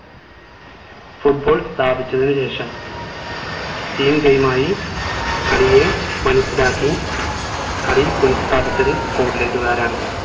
football സ്ഥാപിച്ചതിനു ശേഷം teamgame ആയി കളിയെ മനസ്സിലാക്കി കളി പുനഃസ്ഥാപിച്ചത് scotland കാരാണ്